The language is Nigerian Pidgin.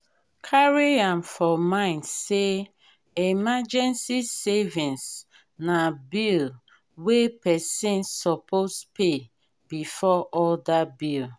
carry am for mind sey emergency savings na bill wey person suppose pay before oda bill